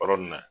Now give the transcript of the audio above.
Yɔrɔ nin na